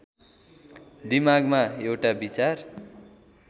दिमागमा एउटा विचार